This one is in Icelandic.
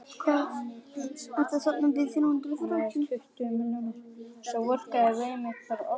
Það getur tekið á.